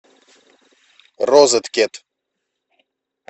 розеткед